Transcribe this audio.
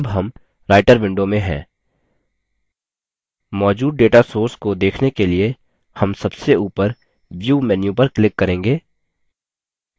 मौजूद data sources को देखने के लिए हम सबसे ऊपर view menu पर click करेंगे और data sources पर click करेंगे